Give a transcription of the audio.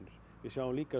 e líka